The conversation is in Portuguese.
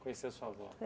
Conheceu a sua avó?